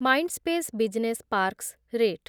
Mindspace business parks rate